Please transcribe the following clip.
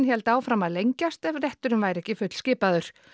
héldi áfram að lengjast ef rétturinn væri ekki fullskipaður